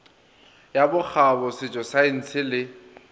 ya bokgabo setšo saense le